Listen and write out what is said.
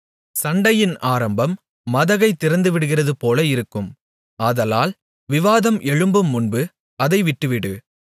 சண்டையின் ஆரம்பம் மதகைத் திறந்துவிடுகிறதுபோல இருக்கும் ஆதலால் விவாதம் எழும்புமுன்பு அதை விட்டுவிடு